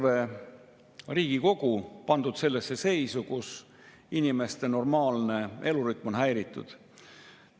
Sisuliselt on meil terve Riigikogu pandud sellesse seisu, kus inimeste normaalne elurütm on häiritud.